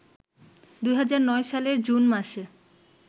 ২০০৯ সালের জুন মাসে